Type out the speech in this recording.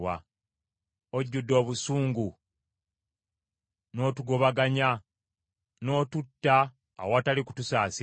“Ojjudde obusungu n’otugobaganya, n’otutta awatali kutusaasira.